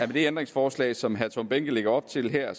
det ændringsforslag som herre tom behnke lægger op til her